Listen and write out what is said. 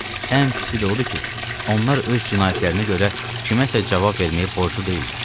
Ən pisi də odur ki, onlar öz cinayətlərinə görə kiməsə cavab verməyə borclu deyillər.